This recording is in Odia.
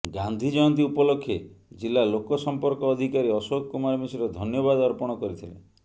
ଗାନ୍ଧୀ ଜୟନ୍ତୀ ଉପଲକ୍ଷେ ଜିଲ୍ଲା ଲୋକ ସମ୍ପର୍କ ଅଧିକାରୀ ଅଶୋକ କୁମାର ମିଶ୍ର ଧନ୍ୟବାଦ ଅର୍ପଣ କରିଥିଲେ